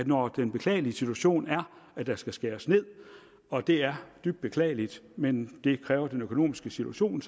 når den beklagelige situation er at der skal skæres ned og det er dybt beklageligt men det kræver den økonomiske situation